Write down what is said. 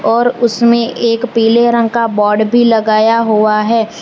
और उसमें एक पीले रंग का बोर्ड भी लगाया हुआ है।